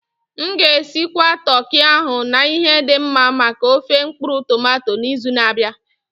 M ga-esigwa toki ahụ na ihe dị mma maka ofé mkpuru-tomato n'izu na-abịa.